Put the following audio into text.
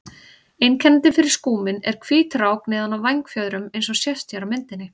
Einkennandi fyrir skúminn er hvít rák neðan á vængfjöðrum eins og sést hér á myndinni.